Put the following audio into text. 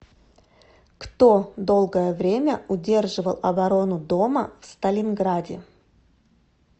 кто долгое время удерживал оборону дома в сталинграде